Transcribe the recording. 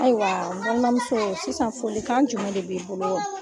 Ayiwa, , n balimamuso sisan , follikan jumɛn de b'i bolo?